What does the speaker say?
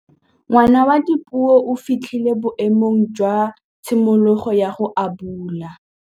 Ngwana wa Dipuo o fitlhile boêmô jwa tshimologô ya go abula.